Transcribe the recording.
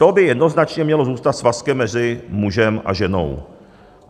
To by jednoznačně mělo zůstat svazkem mezi mužem a ženou.